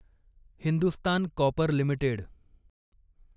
Hindustan copper limited